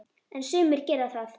En sumar gera það.